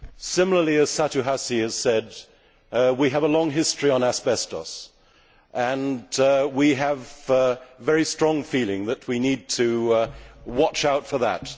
Similarly, as Satu Hassi has said, we have a long history on asbestos, and we have a very strong feeling that we need to watch out for that.